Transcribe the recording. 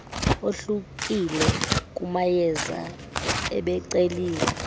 ohlukile kumayeza ebeceliwe